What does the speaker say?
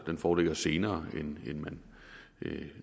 den foreligger senere end man